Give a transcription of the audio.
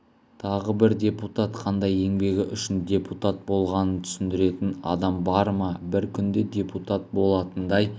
тағы бір депутат қандай еңбегі үшін депутат болғанын түсіндіретін адам бар ма бір күнде депутат болатындай